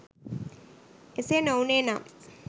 එසේ නොවුණේ නම්